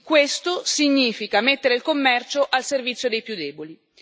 Questo significa mettere il commercio al servizio dei più deboli.